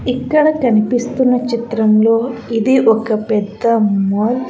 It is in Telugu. ఇక్కడ కనిపిస్తున్న చిత్రంలో ఇది ఒక పెద్ద మాల్ .